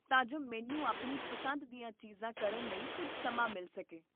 ਅਤੇ ਮੈਂ ਆਪਣੇ ਕੰਮ ਨੂੰ ਲੰਬਿਤ ਨਾ ਰੱਖਣ ਦੀ ਕੋਸ਼ਿਸ਼ ਕਰਦਾ ਹਾਂ